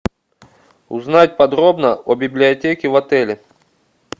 узнать подробно о библиотеке в отеле